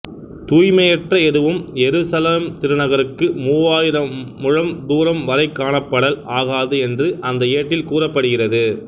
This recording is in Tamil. தூய்மையற்ற எதுவும் எருசலேம் திருநகருக்கு மூவாயிரம் முழம் தூரம் வரை காணப்படல் ஆகாது என்று அந்த ஏட்டில் கூறப்படுகிறது